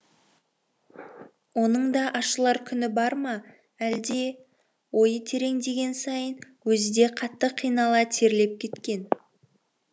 оның да ашылар күні бар ма әлде ойы тереңдеген сайын өзі де қатты қинала терлеп кеткен